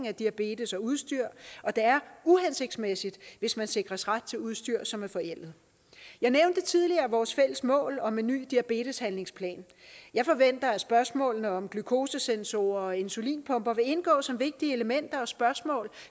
af diabetes og udstyr og det er uhensigtsmæssigt hvis man sikres ret til udstyr som er forældet jeg nævnte tidligere vores fælles mål om en ny diabeteshandlingsplan jeg forventer at spørgsmålet om glykosesonsorer og insulinpumper vil indgå som vigtige elementer og spørgsmål